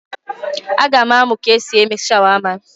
Aga m amụ ka esi eme shawama